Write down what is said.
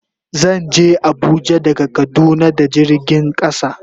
Zan je Abuja daga kaduna da jirgin kasa.